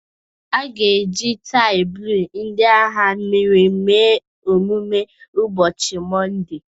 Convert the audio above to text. A ga-eji tii blue ndị agha mmiri mee emume ụbọchị Mọnde